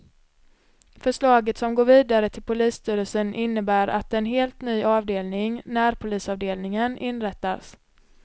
Förslaget som går vidare till polisstyrelsen innebär att en helt ny avdelning, närpolisavdelningen, inrättas.